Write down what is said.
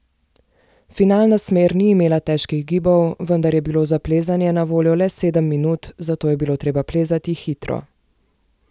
Finalna smer ni imela težkih gibov, vendar je bilo za plezanje na voljo le sedem minut, zato je bilo treba plezati hitro.